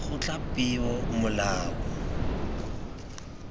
kgotlapeomolao